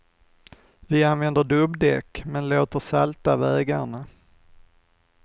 Vi använder dubbdäck, men låter salta vägarna.